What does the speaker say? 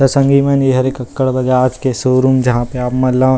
त संगी मन ए हरे क्ककड़ बजाज के शोरूम जहाँ पे आप मन ला --